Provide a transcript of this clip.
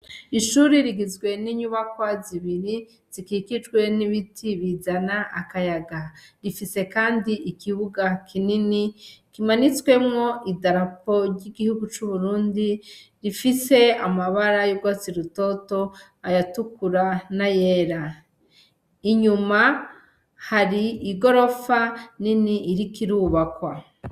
Ishure rigizwe n' inyubakwa zibiri zikikijwe n' ibiti bizana akayaga , ifise kandi ikibuga kinini kimanitswemwo idarapo ry' igihugu c' Uburundi rifise amabara y' urwatsi rutoto , ayatukura n' ayera .Inyuma hari igorofa nini iriko irubakwa.